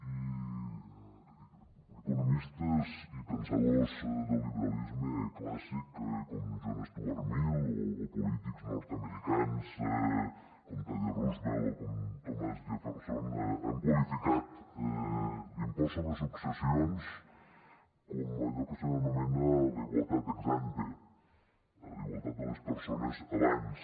i economistes i pensadors del liberalisme clàssic com john stuart mill o polítics nord americans com teddy roosevelt o com thomas jefferson han qualificat l’impost sobre successions com allò que s’anomena la igualtat ex ante la igualtat de les persones abans